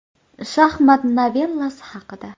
“Shaxmat novellasi” haqida.